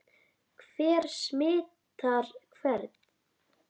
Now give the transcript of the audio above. Hver smitar hvern?